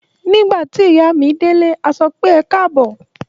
Nígbà tí ìyá mi délé, a sọ pé "ẹ káàbọ̀.